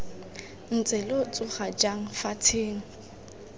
ntse lo tsoga jang fatsheng